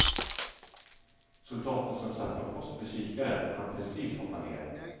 Soldaten som satt på post vid kikaren hann precis hoppa ner.